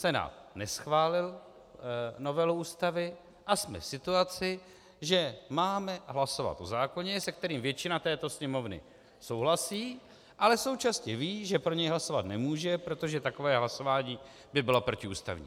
Senát neschválil novelu Ústavy a jsme v situaci, že máme hlasovat o zákoně, se kterým většina této Sněmovny souhlasí, ale současně ví, že pro něj hlasovat nemůže, protože takové hlasování by bylo protiústavní.